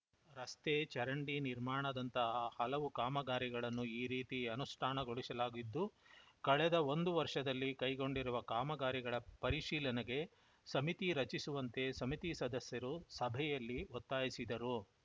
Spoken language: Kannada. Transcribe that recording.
ರಸ್ತೆ ಚರಂಡಿ ನಿರ್ಮಾಣದಂತಹ ಹಲವು ಕಾಮಗಾರಿಗಳನ್ನು ಈ ರೀತಿ ಅನುಷ್ಠಾನಗೊಳಿಸಲಾಗಿದ್ದು ಕಳೆದ ಒಂದು ವರ್ಷದಲ್ಲಿ ಕೈಗೊಂಡಿರುವ ಕಾಮಗಾರಿಗಳ ಪರಿಶೀಲನೆಗೆ ಸಮಿತಿ ರಚಿಸುವಂತೆ ಸಮಿತಿ ಸದಸ್ಯರು ಸಭೆಯಲ್ಲಿ ಒತ್ತಾಯಿಸಿದರು